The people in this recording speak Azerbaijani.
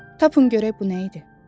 Tapın görək bu nə idi?